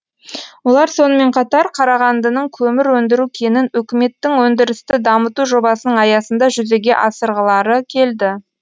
олар сонымен қатар қарағандының көмір өндіру кенін өкіметтің өндірісті дамыту жобасының аясында жүзеге асырғылары келді